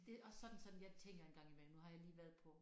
Det også sådan sådan jeg tænker en gang imellem nu har jeg lige været på